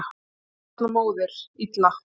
Fimm barna móðir: Illa.